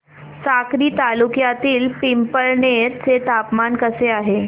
साक्री तालुक्यातील पिंपळनेर चे तापमान कसे आहे